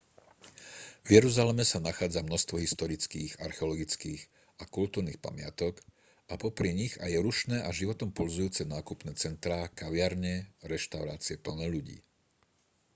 v jeruzaleme sa nachádza množstvo historických archeologických a kultúrnych pamiatok a popri nich aj rušné a životom pulzujúce nákupné centrá kaviarne a reštaurácie plné ľudí